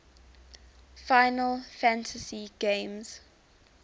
final fantasy games